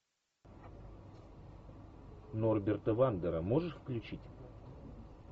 норберта вандера можешь включить